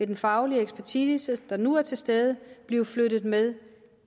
den faglige ekspertise som nu er til stede vil blive flyttet med